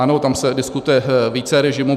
Ano, tam se diskutuje více režimů.